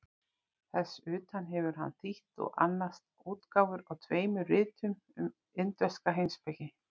Þess utan hefur hann þýtt og annast útgáfu á tveimur ritum um indverska heimspeki.